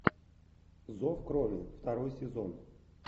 зов крови второй сезон